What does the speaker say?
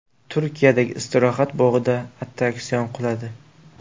Turkiyadagi istirohat bog‘ida attraksion quladi.